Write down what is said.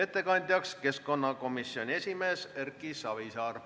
Ettekandja on keskkonnakomisjoni esimees Erki Savisaar.